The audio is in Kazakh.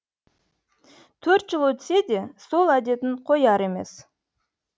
төрт жыл өтсе де сол әдетін қояр емес